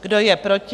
Kdo je proti?